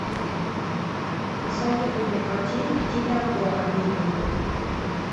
посоветуй мне картину в стиле обзора видео